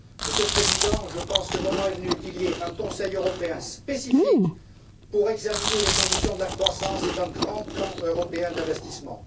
Monsieur le Président, je pense que le moment est venu qu'il y ait un Conseil européen spécifique pour examiner les conditions de la croissance et d'un grand plan européen d'investissement.